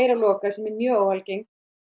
að loka sem er mjög óalgengt